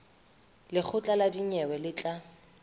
lekgotla la dinyewe le tla